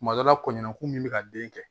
Tuma dɔ la kɔɲɔko min bɛ ka den kɛ